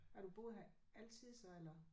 Har du boet her altid så eller?